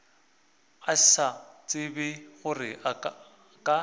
a sa tsebe gore ka